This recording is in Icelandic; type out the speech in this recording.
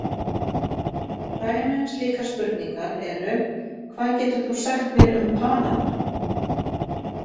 Dæmi um slíkar spurningar eru: Hvað getur þú sagt mér um Panama?